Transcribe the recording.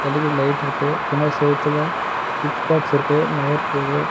L E D light இருக்கு பின்னாடி செவுத்துல ஸ்விட்ச் பாக்ஸ் இருக்கு ஒயர் போது.